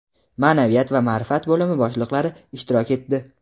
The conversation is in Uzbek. maʼnaviyat va maʼrifat bo‘limi boshliqlari ishtirok etdi.